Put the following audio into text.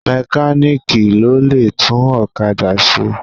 Mẹkáníìkì ló lè tún ọ̀kádà ṣe.